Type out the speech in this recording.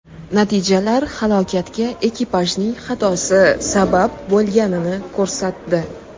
Natijalar halokatga ekipajning xatosi sabab bo‘lganini ko‘rsatdi.